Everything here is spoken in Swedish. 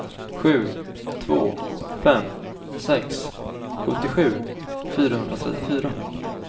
sju två fem sex sjuttiosju fyrahundratrettiofyra